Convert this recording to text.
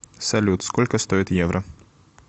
салют сколько стоит евро